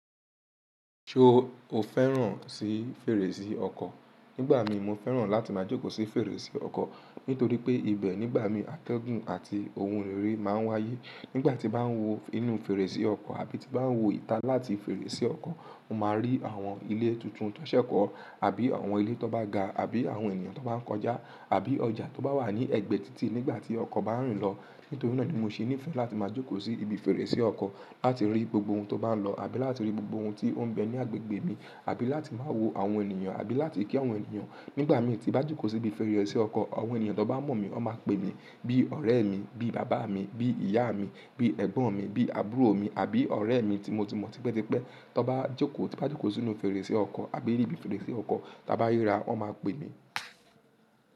Ṣé o o fẹ́ràn sí fèrèsé ọkọ̀? Nígbà mi, mo fẹ́ràn láti máa jókòó sí fèrèsé ọkọ̀ nítorí pé ibẹ̀ nígbà mí ategun àti ohun rere máa ń wáyé. Nígbà tí bá ń wọ inú fèrèsé ọkọ̀ àbí tí bá ń wọ ìta láti fèrèsé ọkọ̀, mo máa rí àwọn ilé tuntun tó ṣẹ̀kọ́, àbí àwọn ilé tó bá ga, àbí àwọn ènìyàn tó bá ń kọjá, àbí ọjà tó bá wà ní ẹ̀gbẹ́ títì nígbà tí ọkọ̀ bá ń rìn lọ. Nítorí náà ni mo ṣe nífẹ̀ẹ́ láti máa jókòó sí ibi fèrèsé ọkọ̀, láti rí gbogbo ohun tó bá ń lọ, àbí láti rí gbogbo ohun tí ó ń bẹ ní agbègbè mi, àbí láti máa wo àwọn ènìyàn, àbí láti kí àwọn ènìyàn. Nígbà mi tí bá jókòó sí ibi fèrèsé ọkọ̀, àwọn ènìyàn tó bá mọ̀ mí, wọ́n máa pè mí bí ọ̀rẹ́ mi, bí bàbá mi, bí ìyá mi, bí ẹ̀gbọ́n mi, bí àbúrò mi àbí ọ̀rẹ́ mi tí mo ti mọ̀ tipẹ́tipẹ́. Tí bá jókòó sínú fèrèsé ọkọ̀ àbí ní ibi fèrèsé ọkọ̀ tí a bá rira, wọ́n máa pè mí.